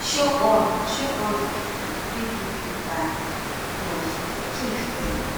show all show all di pipu wey do you bad love forgive dem